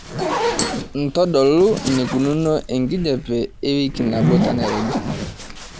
ntodolu eneikununo enkijiape ewiki nabo tenairobi